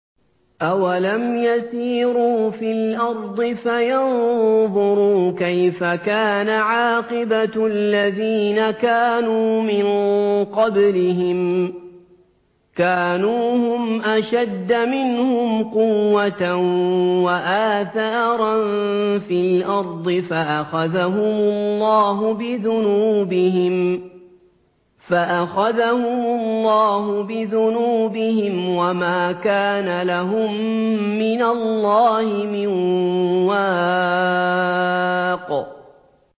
۞ أَوَلَمْ يَسِيرُوا فِي الْأَرْضِ فَيَنظُرُوا كَيْفَ كَانَ عَاقِبَةُ الَّذِينَ كَانُوا مِن قَبْلِهِمْ ۚ كَانُوا هُمْ أَشَدَّ مِنْهُمْ قُوَّةً وَآثَارًا فِي الْأَرْضِ فَأَخَذَهُمُ اللَّهُ بِذُنُوبِهِمْ وَمَا كَانَ لَهُم مِّنَ اللَّهِ مِن وَاقٍ